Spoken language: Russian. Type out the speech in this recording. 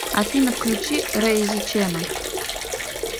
афина включи рейзи чена